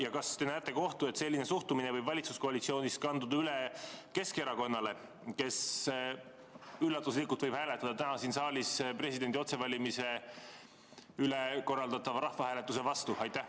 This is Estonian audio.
Ja kas te näete ohtu, et selline suhtumine võib valitsuskoalitsioonis kanduda üle Keskerakonnale, kes üllatuslikult võib hääletada täna siin saalis presidendi otsevalimise küsimuses korraldatava rahvahääletuse vastu?